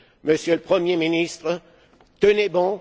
Monsieur le Premier ministre, tenez bon!